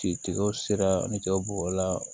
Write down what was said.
Ci tigɛw sera ni jaw bɔ la